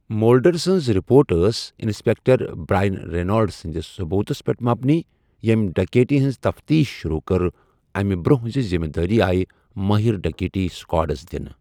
Mulder سٕنٛز report ٲس inspector Brian رینالڈٕ سٕنٛدِس ثوبوٗتَس پٮ۪ٹھ مبنی، ییٚمۍ ڈکیتی ہٕنٛز تفتیش شروٗع کٔر اَمہِ برٛونٛہہ زِ ذمہٕ دٲری آیہِ مٲہر ڈکیتی سکواڈَس دِنہٕ۔